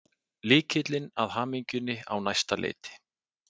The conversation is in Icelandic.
Lykillinn að hamingjunni á næsta leiti.